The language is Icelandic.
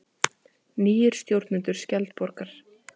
Nýir stjórnendur Skjaldborgar